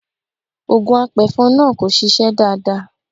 Ògùn apẹ̀fọn náà kò ṣiṣẹ́ dáadáa.